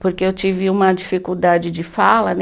Porque eu tive uma dificuldade de fala, né?